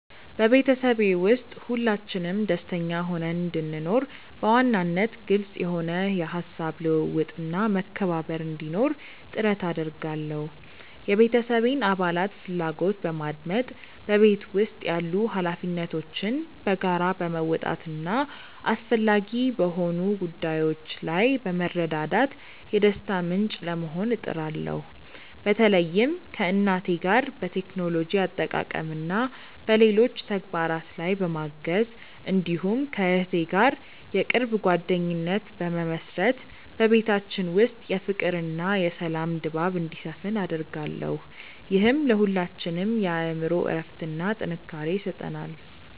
በቤተሰቤ ውስጥ ሁላችንም ደስተኛ ሆነን እንድንኖር፣ በዋናነት ግልጽ የሆነ የሐሳብ ልውውጥና መከባበር እንዲኖር ጥረት አደርጋለሁ። የቤተሰቤን አባላት ፍላጎት በማድመጥ፣ በቤት ውስጥ ያሉ ኃላፊነቶችን በጋራ በመወጣትና አስፈላጊ በሆኑ ጉዳዮች ላይ በመረዳዳት የደስታ ምንጭ ለመሆን እጥራለሁ። በተለይም ከእናቴ ጋር በቴክኖሎጂ አጠቃቀምና በሌሎች ተግባራት ላይ በማገዝ፣ እንዲሁም ከእህቴ ጋር የቅርብ ጓደኝነት በመመሥረት በቤታችን ውስጥ የፍቅርና የሰላም ድባብ እንዲሰፍን አደርጋለሁ። ይህም ለሁላችንም የአእምሮ እረፍትና ጥንካሬ ይሰጠናል።